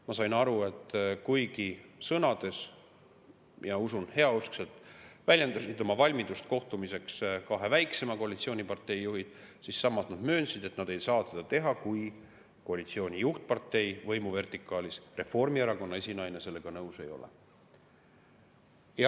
Ma sain aru, et kuigi sõnades ja, usun, heauskselt väljendasid oma valmidust kohtumiseks kahe väiksema koalitsioonipartei juhid, siis samas nad möönsid, et nad ei saa seda teha, kui koalitsiooni juhtpartei võimuvertikaalis, Reformierakonna esinaine sellega nõus ei ole.